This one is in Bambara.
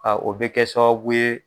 o bɛ kɛ sababu ye